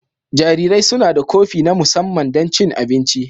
Jarirai suna da kofi na musamman don cin abinci.